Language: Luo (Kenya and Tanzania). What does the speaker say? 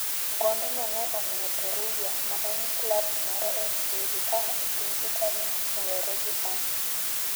gond no ne omiyo Perugia, ma en klabu moro e Serie A e piny Italia, owere gi Ahn.